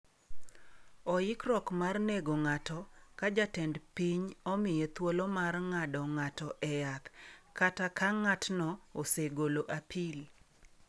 Oikruok mar nego ng’ato ka jatend piny omiye thuolo mar ng’ado ng’ato e yath, kata ka ng’atno osegolo apil.